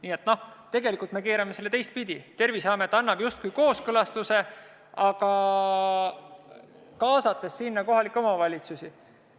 Nii et tegelikult me keerame selle olukorra teistpidi: Terviseamet annab justkui kooskõlastuse, aga kaasab kohalikke omavalitsusi.